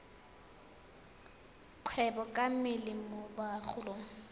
kgwebo ka mmele mo bagolong